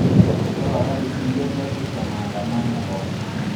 irriwakaki siiyie sasisho ee maandamano ee standing rock